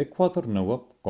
ecuador nõuab